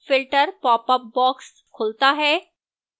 filter popup box खुलता है